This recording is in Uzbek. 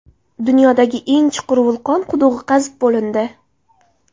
Dunyodagi eng chuqur vulqon qudug‘i qazib bo‘lindi.